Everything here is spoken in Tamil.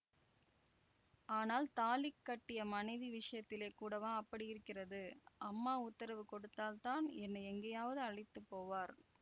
ஆனால் தாலி கட்டிய மனைவி விஷயத்திலே கூடவா அப்படி இருக்கிறது அம்மா உத்தரவு கொடுத்தால் தான் என்னை எங்கேயாவது அழைத்து போவார்